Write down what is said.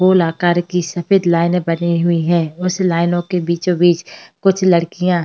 गोल आकार की सफेद लाइनें बनी हुई हैं। उस लाइनों के बीचों बीच कुछ लड़कियां --